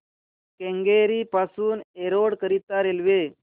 केंगेरी पासून एरोड करीता रेल्वे